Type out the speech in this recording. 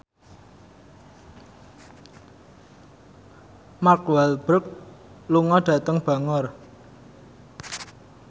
Mark Walberg lunga dhateng Bangor